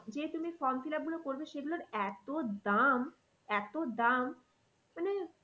যে তুমি form fill up গুলো করবে সেগুলোর এতো দাম এতো দাম মানে